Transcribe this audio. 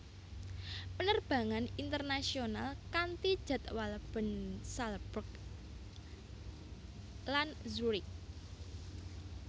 Penerbangan internasional kanti jadwal Bern Salzburg lan Zurich